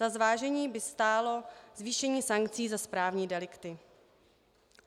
Za zvážení by stálo zvýšení sankcí za správní delikty.